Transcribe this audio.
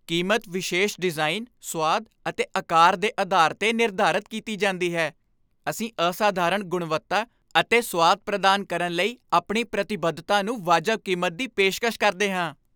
ਕੀਮਤ ਵਿਸ਼ੇਸ਼ ਡਿਜ਼ਾਈਨ, ਸੁਆਦ ਅਤੇ ਅਕਾਰ ਦੇ ਅਧਾਰ ਤੇ ਨਿਰਧਾਰਤ ਕੀਤੀ ਜਾਂਦੀ ਹੈ। ਅਸੀਂ ਅਸਾਧਾਰਣ ਗੁਣਵੱਤਾ ਅਤੇ ਸੁਆਦ ਪ੍ਰਦਾਨ ਕਰਨ ਲਈ ਆਪਣੀ ਪ੍ਰਤੀਬੱਧਤਾ ਨੂੰ ਵਾਜਬ ਕੀਮਤ ਦੀ ਪੇਸ਼ਕਸ਼ ਕਰਦੇ ਹਾਂ।